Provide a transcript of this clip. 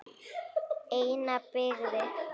Eina byggði